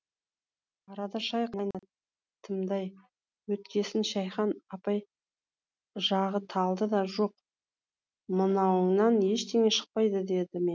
арада шай қайнатымдай өткесін шәйхан апай жағы талды да жоқ мынауыңнан ештеңе шықпайды деді ме